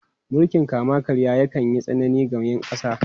Mulkin kama-karya yakan yi tsanani ga ’yan kasa.